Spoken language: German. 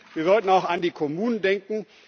Wir sollten auch an die Kommunen denken.